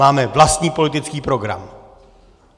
Máme vlastní politický program.